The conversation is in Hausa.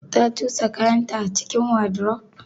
Ta cusa kayanta a cikin wardrobe?